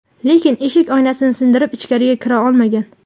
Lekin eshik oynasini sindirib, ichkariga kira olmagan.